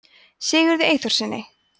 sigurði eyþórssyni